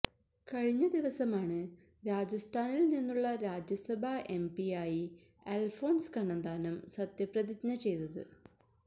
കഴിഞ്ഞദിവസമാണ് രാജസ്ഥാനിൽ നിന്നുള്ള രാജ്യസഭാ എംപിയായി അൽഫോൺസ് കണ്ണന്താനം സത്യപ്രതിജ്ഞ ചെയ്തത്